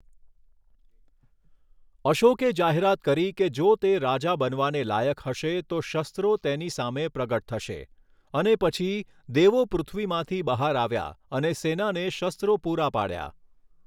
અશોકે જાહેરાત કરી કે જો તે રાજા બનવાને લાયક હશે તો શસ્ત્રો તેની સામે પ્રગટ થશે, અને પછી, દેવો પૃથ્વીમાંથી બહાર આવ્યા અને સેનાને શસ્ત્રો પૂરા પાડ્યા.